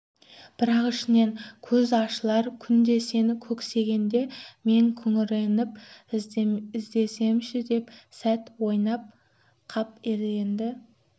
бірақ ішінен көз ашылар күнді сен көксегенде мен күңіреніп іздесемші деп сәт ойланып қап еді енді